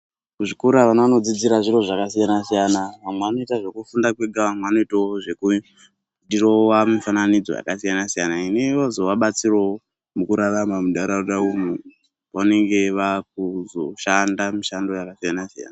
Muzvikora vana vanodzidzira zviro zvakasiyana siyana vamwe vanoita zvekufunda mwega vamwe vanoitawo zvekudhirowa mifananidzo yakasiyana siyana inozowabatsirawo mukurarama muntaraunda umu vanenge vakuzoshanda mishando yakasiyana siyana